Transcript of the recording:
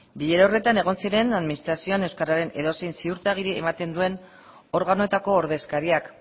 bilera horretan egon ziren administrazioan euskararen edozein ziurtagiri ematen duen organoetako ordezkariak